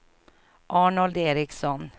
Arnold Ericsson